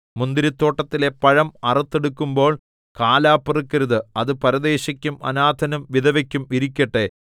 മുന്തിരിത്തോട്ടത്തിലെ പഴം അറുത്തെടുക്കുമ്പോൾ കാലാപെറുക്കരുത് അത് പരദേശിക്കും അനാഥനും വിധവയ്ക്കും ഇരിക്കട്ടെ